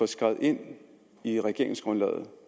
skrevet ind i regeringsgrundlaget